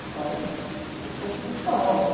Eu falo como se fosse um espanhol, né?